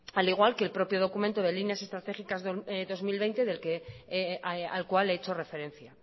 al igual que el propio documento de líneas estratégicas dos mil veinte al cual he hecho referencia